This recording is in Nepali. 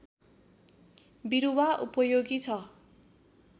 बिरुवा उपयोगी छ